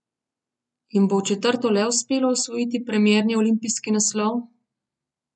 Jim bo v četrto le uspelo osvojiti premierni olimpijski naslov?